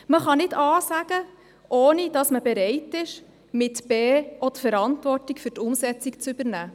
Man kann nicht A sagen, ohne dazu bereit zu sein, mit B auch die Verantwortung für die Umsetzung zu übernehmen.